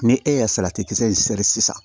Ni e ye kisɛ in siri sisan